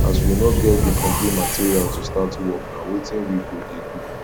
as we no get the complete material to start work na wetin we go dey do